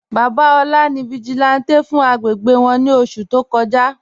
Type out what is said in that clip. Baba Ola ni vigílántè fún àgbégbé wọn ni oṣù tó kọ́jà..